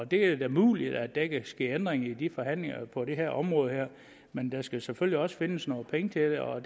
det er da muligt at der kan ske ændringer i de forhandlinger på det her område men der skal selvfølgelig også findes nogle penge til det og